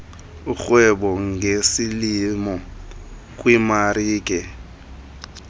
urhweba ngesilimo kwimarike